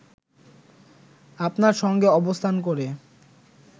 আপনার সঙ্গে অবস্থান করে